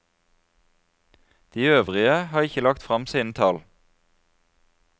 De øvrige har ikke lagt frem sine tall.